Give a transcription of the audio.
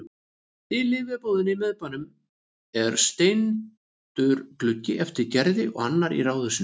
Í lyfjabúðinni í miðbænum er steindur gluggi eftir Gerði og annar í ráðhúsinu.